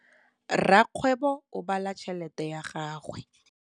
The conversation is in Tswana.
Rakgwêbô o bala tšheletê ya gagwe.